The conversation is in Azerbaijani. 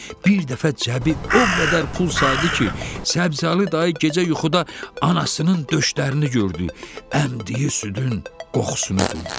Bir dəfə cəbi o qədər pul saydı ki, Səbzəli dayı gecə yuxuda anasının döşlərini gördü, əmdiyi südün qoxusunu duydu.